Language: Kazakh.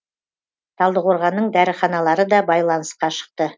талдықорғанның дәріханалары да байланысқа шықты